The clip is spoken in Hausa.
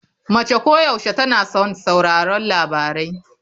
Mace koyaushe tana son sauraron labarai.